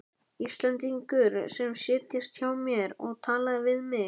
Íslendingur sem settist hjá mér og talaði við mig.